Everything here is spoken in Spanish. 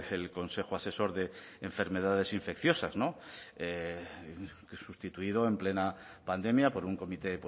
el consejo asesor de enfermedades infecciosas no sustituido en plena pandemia por un comité